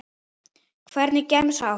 Hvernig gemsa áttu?